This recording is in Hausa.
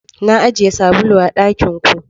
Na ajiye sabulu a dakin ku.